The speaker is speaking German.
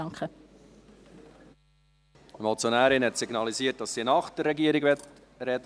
Die Motionärin hat signalisiert, dass sie nach der Regierung sprechen möchte.